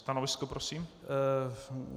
Stanovisko prosím.